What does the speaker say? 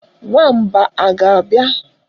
Nwamba a ga-abịa?